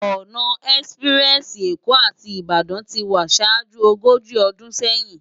Òná èspirèsi Ékó áti Ibadan ti wá ṣájú ógóji ódún séyin